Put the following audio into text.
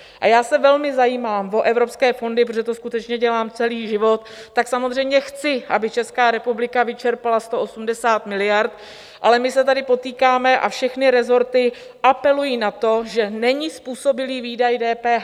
A já se velmi zajímám o evropské fondy, protože to skutečně dělám celý život, tak samozřejmě chci, aby Česká republika vyčerpala 180 miliard, ale my se tady potýkáme, a všechny resorty apelují na to, že není způsobilý výdaj DPH.